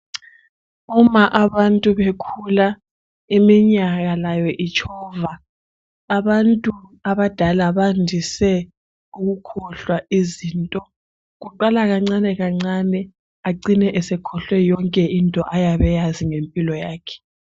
Uma abantu bekhula iminyaka layo itshova, abantu abadala bandise ukukhohlwa izinto. Kuqala kancane kancane acine esekhohlwe yonke into ayabe eyazi ngempilo yakhe.